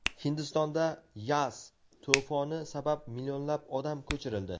Hindistonda "Yaas" to‘foni sabab millionlab odam ko‘chirildi.